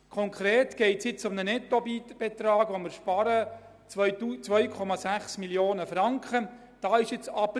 Konkret geht es jetzt um einen Nettobetrag von 2,6 Mio. Franken, den wir sparen.